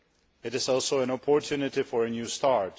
It is also an opportunity for a new start.